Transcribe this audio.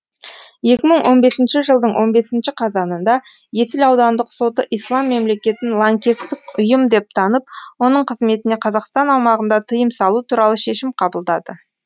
екі мың он бесінші жылдың он бес қазанында есіл аудандық соты ислам мемлекетін лаңкестік ұйым деп танып оның қызметіне қазақстан аумағында тыйым салу туралы шешім қабылдады